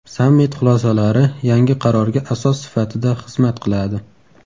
Sammit xulosalari yangi qarorga asos sifatida xizmat qiladi.